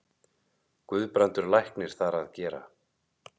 Guðbrandur læknir þar að gera.